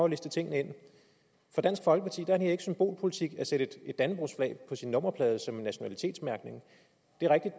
at liste tingene ind for dansk folkeparti er det ikke symbolpolitik at sætte et dannebrogsflag på sin nummerplade som en nationalitetsmærkning det